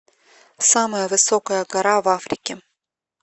самая высокая гора в африке